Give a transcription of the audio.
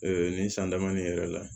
nin san dama nin yɛrɛ la